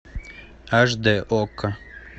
аш дэ окко